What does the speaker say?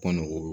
Kɔnɔ o